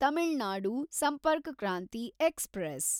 Tamil Nadu Sampark Kranti express